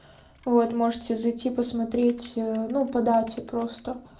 вот можете зайти посмотреть а ну по дате просто